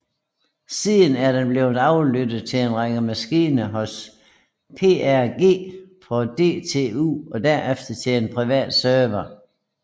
Siden er den blevet flyttet til en maskine hos PRG på DTU og derefter til en privat server